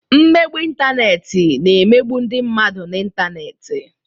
Mmegbu ịntanetị na emegbu ndị mmadụ n'ịntanetị.